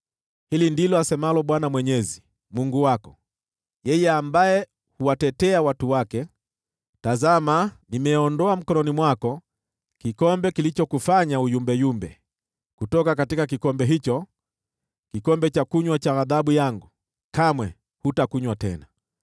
Hili ndilo asemalo Bwana Mwenyezi wako, Mungu wako, yeye ambaye huwatetea watu wake: “Tazama, nimeondoa mkononi mwako kikombe kilichokufanya uyumbayumbe; kutoka kikombe hicho, kikombe cha kunywa cha ghadhabu yangu, kamwe hutakunywa tena.